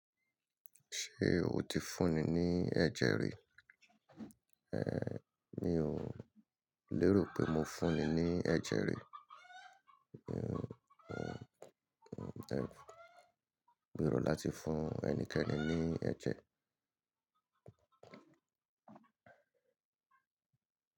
Ṣé o ti fún ní ní ẹ̀jẹ̀ rí? Ehn, mi ò lérò pé mo fún ní ní ẹ̀jẹ̀ rí. Gbèrò láti fún ẹnikẹ́ni ní ẹ̀jẹ̀.